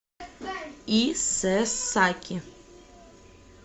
исэсаки